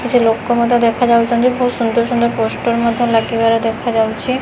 କିଛି ଲୋକ ମଧ୍ୟ ଦେଖା ଯାଉଚନ୍ତି ଭୋଉତ୍ ସୁନ୍ଦର ସୁନ୍ଦର ପୋଷ୍ଟର ମଧ୍ୟ ଲାଗିବାର ଦେଖାଯାଉଚି।